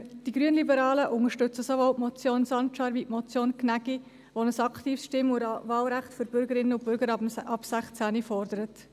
Die Grünliberalen unterstützen sowohl die Motion Sancar (als auch die Motion Gnägi, die ein aktives Stimm- und Wahlrecht für Bürgerinnen und Bürger ab 16 fordern.